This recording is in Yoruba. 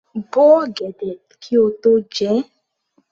Bo ọ̀gẹ̀dẹ̀ kí o tó jẹ ẹ́!